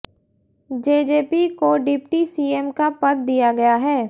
JJP को deputy CM का पद दिया गया है